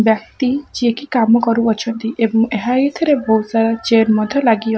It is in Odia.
ବ୍ୟକ୍ତି ଯିଏକି କାମ କରୁ ଅଛନ୍ତି ଏବଂ ଏହା ଏଇଥିରେ ବହୁତ ସାରା ଚେୟାର ମଧ୍ୟ ଲାଗି ଅ --